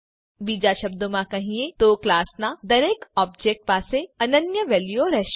બીજા શબ્દોમાં કહીએ તો ક્લાસનાં દરેક ઓબજેક્ટ પાસે અનન્ય વેલ્યુઓ રહેશે